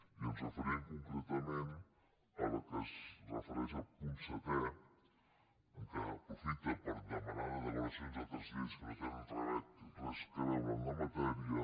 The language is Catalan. i ens referim concretament a la que es refereix el punt se·tè en què s’aprofita per demanar derogacions d’altres lleis que no tenen res a veure en la matèria